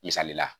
Misali la